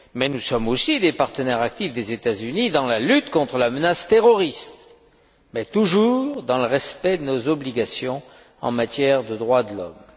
Nous sommes aussi des partenaires actifs des États Unis dans la lutte contre la menace terroriste, mais toujours dans le respect de nos obligations en matière de droits de l'homme.